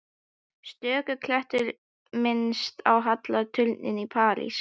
Stöku klettur minnti á halla turninn í Písa.